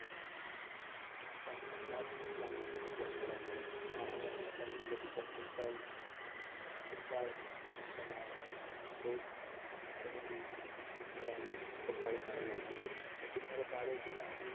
അദ്ദേഹം വളർന്നത്, ആറാം വയസ്സിൽ തനിക്ക് ലഭിച്ച football football കൂട്ടമാണ് boot, boot കളുമായാണ് ഇബ്രാഹിമോവിച്ച football കളിവിടുന്നത്. പിന്നീട് പ്രാദേശിക